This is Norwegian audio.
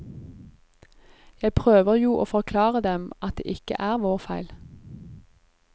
Jeg prøver jo å forklare dem at det ikke er vår feil.